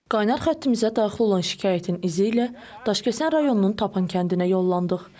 Qaynar xəttimizə daxil olan şikayətin izi ilə Daşkəsən rayonunun Tapan kəndinə yollandıq.